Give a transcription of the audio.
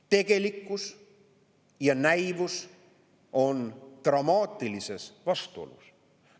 Tegelikkus ja näivus on dramaatilistes vastuolus.